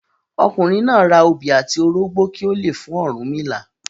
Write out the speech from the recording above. Ọkùnrin náà ra obi àti orógbọ kí ó le fún Ọ̀rúnmìlà.